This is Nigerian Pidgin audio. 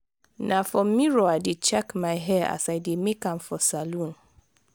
na for mirror i dey check my hair as i dey make am for salon.